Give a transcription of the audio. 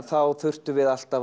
þá þurftum við alltaf